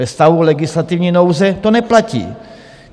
Ve stavu legislativní nouze to neplatí.